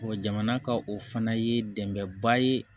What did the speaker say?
jamana ka o fana ye dɛmɛba ye